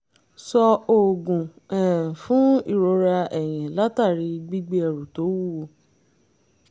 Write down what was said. sọ oògùn um fún ìrora ẹ̀yìn látàri gbígbé ẹrù tó wúwo